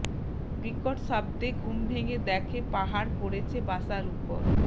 বিকট শব্দে ঘুম ভেঙ্গে দেখে পাহাড় পড়েছে বাসার উপর